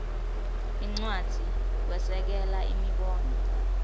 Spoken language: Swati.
incwadzi kwesekela imibono